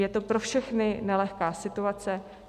Je to pro všechny nelehká situace.